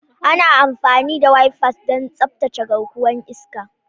Ana amfani da wipers don tsaftace garkuwar iska.